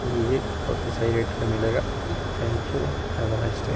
लीजिए बहोत ही सही रेट का मिलेगा thank you have a nice day.